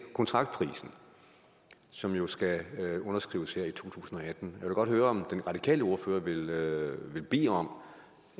kontraktprisen som jo skal underskrives her i to tusind og atten vil godt høre om den radikale ordfører vil vil bede om